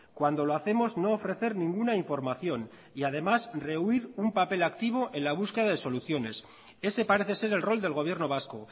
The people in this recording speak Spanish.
cuando lo hacemos no ofrecer ninguna información y además rehuir un papel activo en la búsqueda de soluciones ese parece ser el rol del gobierno vasco